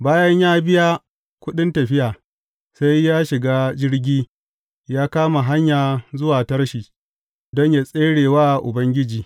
Bayan ya biya kuɗin tafiya, sai ya shiga jirgi ya kama hanya zuwa Tarshish don yă tsere wa Ubangiji.